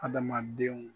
Adamadenw